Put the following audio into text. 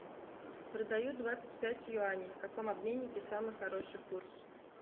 продаю двадцать пять юаней в каком обменнике самый хороший курс